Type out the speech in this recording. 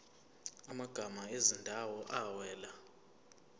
amagama ezindawo awela